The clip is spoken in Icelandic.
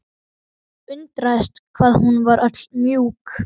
Undraðist hvað hún var öll mjúk.